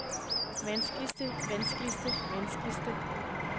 vanskeligste vanskeligste vanskeligste